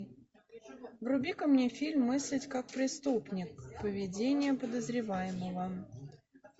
вруби ка мне фильм мыслить как преступник поведение подозреваемого